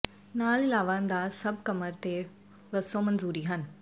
ਨਾਲ ਇਲਾਵਾ ਅੰਦਾਜ਼ ਸਭ ਕਮਰ ਅਤੇ ਵੱਸੋ ਮਨਜ਼ੂਰੀ ਹਨ